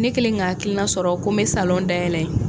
Ne kɛlen ka hakilina sɔrɔ ko n bɛ salon dayɛlɛn